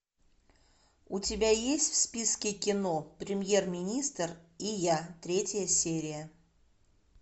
у тебя есть в списке кино премьер министр и я третья серия